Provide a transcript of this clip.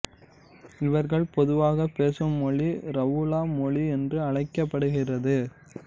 இவர்கள் பொதுவாக பேசும் மொழி ரவுலா மொழி என்று அழைக்கப்படுகிறது